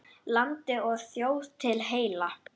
Landi og þjóð til heilla!